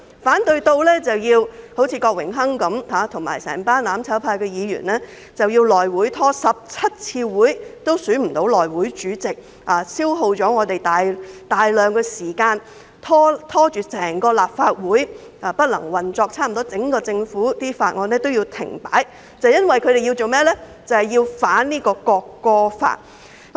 反對《條例草案》的手段，最明顯便是郭榮鏗議員及所有"攬炒派"議員拖延了內務委員會17次會議也未能選出主席，消耗議會大量時間，拖累立法會不能正常運作，差不多所有政府法案也要停擺，就是因為他們要反對《條例草案》。